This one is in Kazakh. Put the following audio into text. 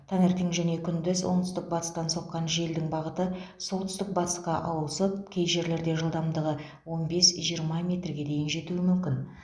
таңертең және күндіз оңтүстік батыстан соққан желдің бағыты солтүстік батысқа ауысып кей жерлерде жылдамдығы он бес жиырма метрге дейін жетуі мүмкін